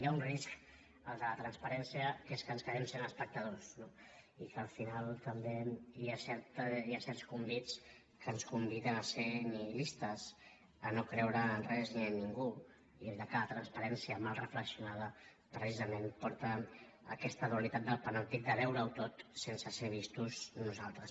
hi ha un risc el de la transparència que és que ens quedem sent espectadors no i que al final també hi ha certs convits que ens conviden a ser nihilistes a no creure en res ni en ningú i que la transparència mal reflexionada precisament porta a aquesta dualitat del panòptic de veure ho tot sense ser vistos nosaltres